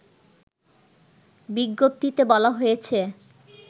বিজ্ঞপ্তিতে বলা হয়েছে